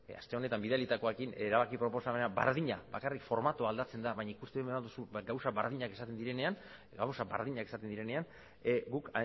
aste honetan bidalitakoarekin erabaki proposamena berdina bakarrik formatoa aldatzen da baina ikusten baldin baduzu gauza berdinak esaten direnean guk